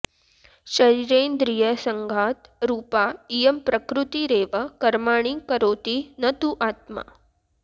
शरीरेन्द्रियसङ्घातरूपा इयं प्रकृतिरेव कर्माणि करोति न तु आत्मा